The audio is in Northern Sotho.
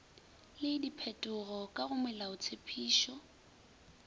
le diphetogo ka go melaotshepetšo